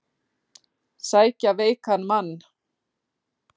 Sækja veikan mann